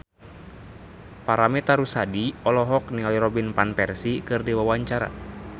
Paramitha Rusady olohok ningali Robin Van Persie keur diwawancara